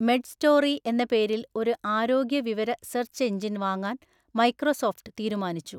Medstory എന്ന പേരിൽ ഒരു ആരോഗ്യ വിവര സെർച്ച് എഞ്ചിൻ വാങ്ങാൻ മൈക്രോസോഫ്റ്റ് തീരുമാനിച്ചു.